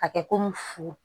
A kɛ komi fu